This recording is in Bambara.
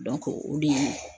o de ye